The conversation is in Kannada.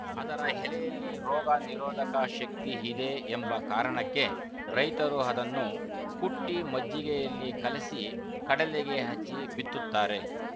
ಅದರ ಹೆಲೆಯಲ್ಲಿ ರೋಗ ನಿರೋಧಕ ಶಕ್ತಿ ಹಿದೆ ಎಂಬ ಕಾರಣಕ್ಕೆ ರೈತರು ಅದನ್ನು ಕುಟ್ಟಿಮಜ್ಜಿಗೆಯಲ್ಲಿ ಕಲಸಿ ಕಡಲೆಗೆ ಹಚ್ಚಿ ಬಿತ್ತುತ್ತಾರೆ